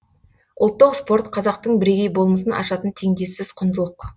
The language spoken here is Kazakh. ұлттық спорт қазақтың бірегей болмысын ашатын теңдессіз құндылық